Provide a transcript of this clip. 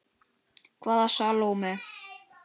Hvaða Salóme?